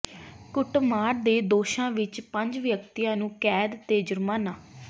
ਕੁੱਟਮਾਰ ਦੇ ਦੋਸ਼ਾਂ ਵਿੱਚ ਪੰਜ ਵਿਅਕਤੀਆਂ ਨੂੰ ਕੈਦ ਤੇ ਜੁਰਮਾਨਾ